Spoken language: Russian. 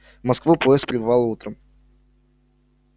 в москву поезд прибывал утром